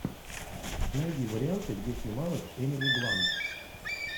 найди варианты где снималась эмили блант